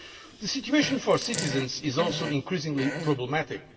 The situation for citizens is also increasingly problematic.